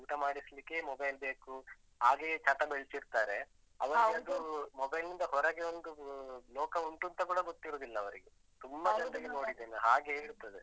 ಊಟ ಮಾಡಿಸ್ಲಿಕ್ಕೆ mobile ಬೇಕು, ಹಾಗೆಯೇ ಚಟ ಬೆಳ್ಸಿರ್ತಾರೆ. ಅವರಿಗದು mobile ನಿಂದ ಹೊರಗೆ ಒಂದು ಲೋಕವುಂಟೂಂತ ಕೂಡ ಗೊತ್ತಿರುವುದಿಲ್ಲ ಅವರಿಗೆ ತುಂಬ ಜನರಿಗೆ ನೋಡಿದ್ದೇನೆ. ಹಾಗೇ ಇರ್ತದೆ.